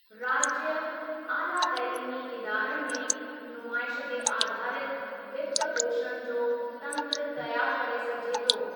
राज्य, आला तइलीमी इदारनि में नुमाइश ते आधारित वित्त पोषण जो तंत्र तयारु करे सघिजे थो।